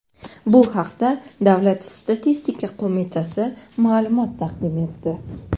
Bu haqda Davlat statistika qo‘mitasi ma’lumot taqdim etdi.